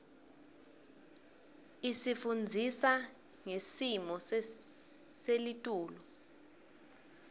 isifundzisa ngesmo selitulu